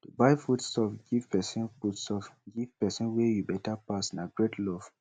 to buy foodstuff give pesin foodstuff give pesin wey you beta pass na great love